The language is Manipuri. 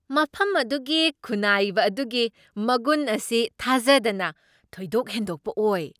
ꯃꯐꯝ ꯑꯗꯨꯒꯤ ꯈꯨꯠꯅꯥꯏꯕ ꯑꯗꯨꯒꯤ ꯃꯒꯨꯟ ꯑꯁꯤ ꯊꯖꯗꯅ ꯊꯣꯏꯗꯣꯛ ꯍꯦꯟꯗꯣꯛꯄ ꯑꯣꯏ ꯫